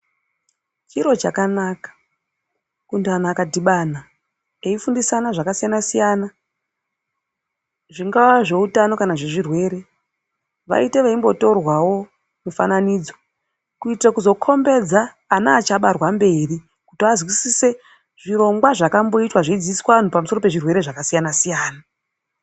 Chiro chakanaka kuti antu akadhibana eifundisana zvakasiyana siyana zvingava zveutano kana zvezvirwere vaite veimbotorwawo mifananidzo kuitira kukhombidza vana vachabarwa kumberi kuti vazwisise zvirongwa zvakamboitwa zveidzidziswa antu pamusoro pezvirwere zvakasiyana siyana.